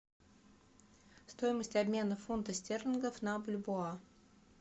стоимость обмена фунтов стерлингов на бальбоа